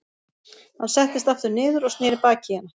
Hann settist aftur niður og sneri baki í hana.